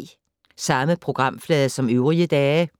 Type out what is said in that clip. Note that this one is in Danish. Samme programflade som øvrige dage